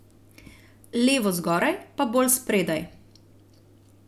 Levo zgoraj, pa bolj spredaj.